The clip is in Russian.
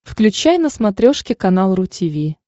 включай на смотрешке канал ру ти ви